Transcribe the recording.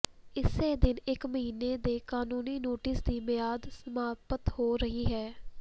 ਇਸੇ ਦਿਨ ਇਕ ਮਹੀਨੇ ਦੇ ਕਾਨੂੰਨੀ ਨੋਟਿਸ ਦੀ ਮਿਆਦ ਸਮਾਪਤ ਹੋ ਰਹੀ ਹੈ